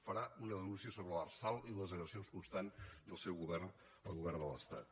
farà una denúncia sobre l’arsal i les agressions constants del seu govern el govern de l’estat